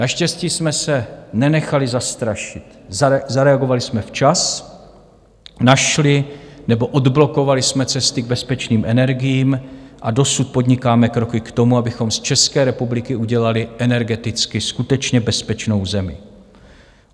Naštěstí jsme se nenechali zastrašit, zareagovali jsme včas, našli nebo odblokovali jsme cesty k bezpečným energiím a dosud podnikáme kroky k tomu, abychom z České republiky udělali energeticky skutečně bezpečnou zemi.